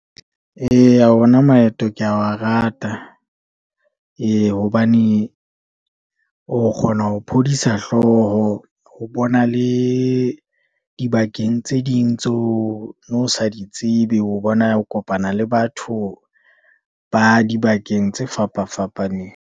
Eya ona maeto ke wa rata, ee hobane o kgona ho phodisa hlooho, ho bona le dibakeng tse ding tseo o sa di tsebe, ho bona ho kopana le batho ba dibakeng tse fapafapaneng.